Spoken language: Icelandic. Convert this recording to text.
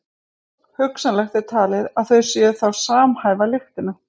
Hugsanlegt er talið að þau séu þá að samhæfa lyktina.